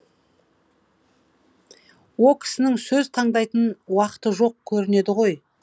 о кісінің сөз таңдайтын уақыты жоқ көрінеді ғой